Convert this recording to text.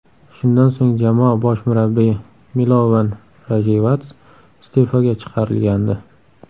Shundan so‘ng jamoa bosh murabbiyi Milovan Rayevats iste’foga chiqarilgandi.